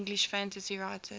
english fantasy writers